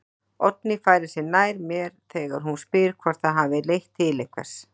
Oddný færir sig nær mér þegar hún spyr hvort það hafi leitt til einhvers.